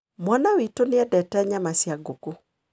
Mwana witũ nĩ endete nyama cia ngũkũ.